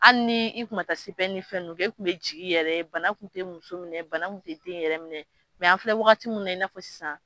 Hali ni i kun ma taa se ni fɛn kɛ, i kun bɛ jigin i yɛrɛ ye. Bana kun te muso minɛ bana kun te den yɛrɛ minɛ an filɛ wagati min na i n'a fɔ sisan